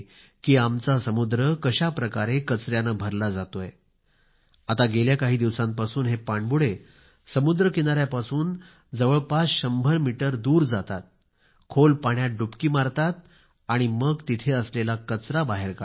आमचा समुद्र कशाप्रकारे कचऱ्याने भरला जातो आहे आता गेल्या काही दिवसांपासून हे पाणबुडे समुद्र किनाऱ्यापासून जवळपास शंभर मीटर दूर जातात खोल पाण्यात डुबकी मारतात आणि मग तिथे असलेला कचरा बाहेर काढतात